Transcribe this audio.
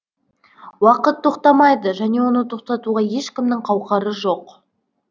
уақыт тоқтамайды және оны тоқтатуға ешкімнің қауқары жоқ